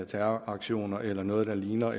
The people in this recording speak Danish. terroraktioner eller noget der ligner